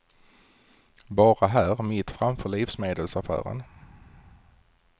Bara här, mitt framför livsmedelsaffären.